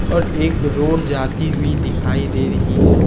और एक रोड जाती हुई दिखाई दे रही है।